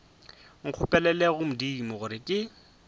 nkgopelele go modimo gore ke